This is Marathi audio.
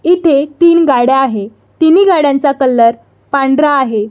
इथे तीन गाड्या आहे तीनि गाड्यांचा कलर पांढरा आहे.